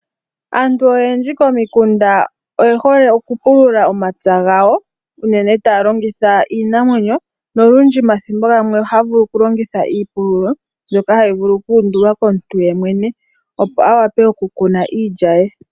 Aantu oyendji komikunda oyehole okupulula omapya gawo, unene taya longitha iinamwenyo, nolundji omathimbo gamwe ohaya vulu okulongitha iipululo, mbyoka hayi vulu oku undulwa komuntu yeemwene, opo awape okukuna iilya ye.